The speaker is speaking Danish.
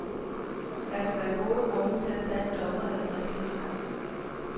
Der kan være gode grunde til at tage en dommer, af den rigtige slags.